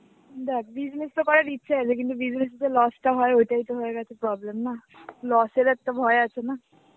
দেখ business তো করার ইচ্ছা আছে কিন্তু business এ যে loss টা হয়, ওটাই তো হয়ে গেছে problem. না? loss এর একটা ভয় আছে না?